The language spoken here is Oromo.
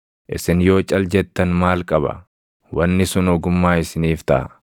Isin yoo cal jettan maal qaba! Wanni sun ogummaa isiniif taʼa.